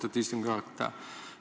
Austatud istungi juhataja!